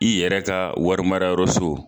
I yɛrɛ ka wari marayɔrɔso.